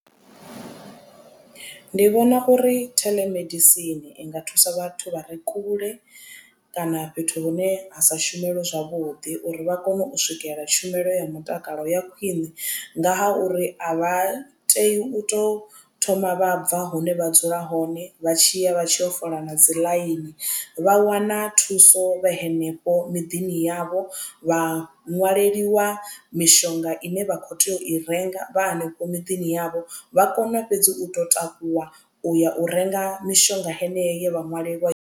Ndi vhona uri theḽemedisini i nga thusa vhathu vha re kule kana fhethu hune ha sa shumelwe zwavhuḓi uri vha kone u swikelela tshumelo ya mutakalo ya khwiṋe nga ha uri a vha tei u to thoma vha bva hone vha dzula hone vha tshiya vha tshi yo fola na dzi ḽaini vha wana thuso vha henefho miḓini yavho vha ṅwaleliwa mishonga ine vha kho tea u i renga vha hanefho miḓini yavho vha kone fhedzi u to takuwa u ya u renga mishonga heneyo ye vha ṅwalelwa.